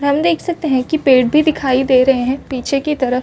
हम देख सकते हैं कि पेड़ भी दिखाई दे रहे हैं पीछे की तरफ।